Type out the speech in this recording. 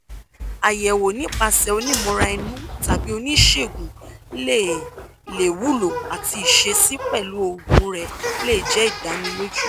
ayẹwo nipasẹ onimọra-inu tabi onisegun le le wulo ati iṣesi pẹlu oogun rẹ le jẹ idaniloju